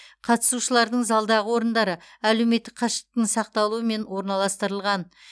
қатысушылардың залдағы орындары әлеуметтік қашықтықтың сақталуымен орналастырылған